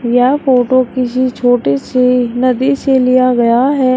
यह फोटो किसी छोटे से नदी से लिया गया है।